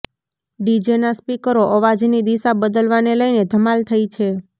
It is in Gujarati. ડીજેના સ્પીકરો અવાજની દિશા બદલવાને લઈને ધમાલ થઇ છે